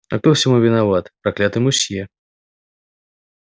а кто всему виноват проклятый мусье